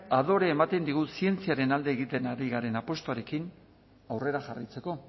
adorea ematen digu zientziaren alde egiten ari garen apustuarekin aurrera jarraitzeko